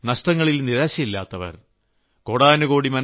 നഷ്ടങ്ങളിൽ നിരാശയില്ലാത്തവർ നഷ്ടങ്ങളിൽ നിരാശയില്ലാത്തവർ